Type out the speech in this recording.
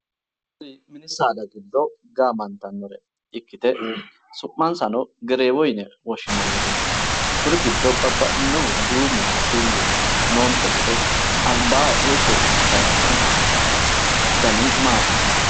Mini saada giddo gaamantannore ikkite su'mansano gereewo yine woshshinannireeti. Kuri giddo babbaxxinobu duumuno bulluno noonte gede albaanni hige itanni noohu dani maati?